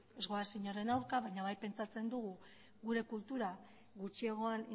ez goaz inoren aurka baina bai pentsatzen dugula gure kultura gutxiagoan